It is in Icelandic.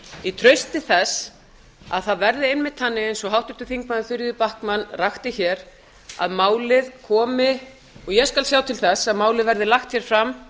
í trausti þess að það verði einmitt þannig eins og háttvirtir þingmenn þuríður backman rakti að málið komi og ég skal sjá til þess að málið verði lagt fram